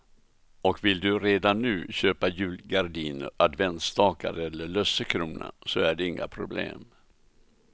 Och vill du redan nu köpa julgardiner, adventsstakar eller lussekrona så är det inga problem.